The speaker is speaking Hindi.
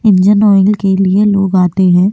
इंजीन ऑयल के लिए लोग आते है।